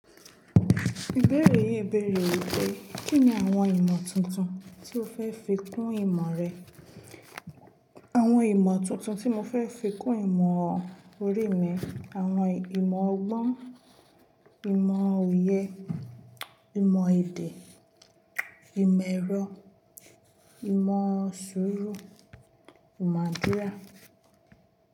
Ìbéèrè yìí bèèrè wípé, kín ni àwon ìmọ̀ tuntun tí o fẹ́ fi kún ìmọ̀ rẹ? Àwon ìmọ̀ tuntun tí mo fẹ́ fi kún ìmọ̀ orí mi, àwon ìmọ̀ ọgbọ́n, ìmọ̀ òye, ìmọ̀ èdè, ìmọ̀ ẹ̀rọ, ìmọ̀ sùúrù, ìmọ̀ àdúrà.